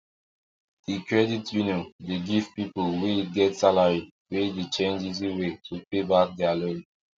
d credit union de give people wey get salary wey dey change easy way to pay back their loan